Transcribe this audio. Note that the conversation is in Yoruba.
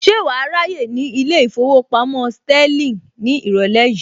Ṣé wàá ráyè ní ilé ìfowópamọ́ Sterling ní ìrọ̀lẹ́ yìí